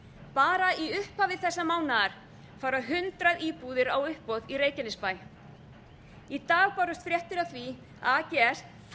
bara í upphafi þessa mánaðar fara hundrað íbúðir á uppboð í reykjanesbæ í dag bárust fréttir af því að